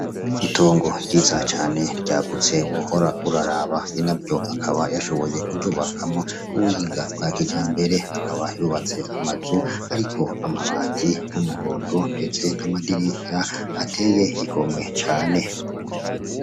Itongo ryiza cane ryagutse wohora uraraba bina byo akaba yashoboye kurubakamwo kuwiga bwa kija mbere akaba yubatse amazu, ariko amabati y'umuhondo, ndetse n'amadirisya ateye ikomwe cane.